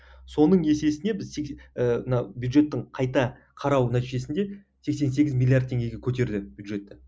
соның есесіне біз ы мына бюджеттің қайта қарау нәтижесінде сексен сегіз миллиард теңгеге көтерді бюджетті